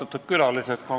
Austatud külalised!